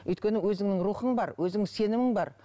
өйткені өзіңнің рухың бар өзіңнің сенімің бар